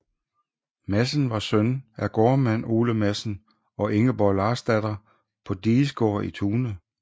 Madsen var søn af gårdmand Ole Madsen og Ingeborg Larsdatter på Digesgaard i Tune